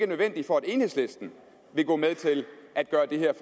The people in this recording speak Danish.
nødvendige for at enhedslisten ville gå med til at gøre det her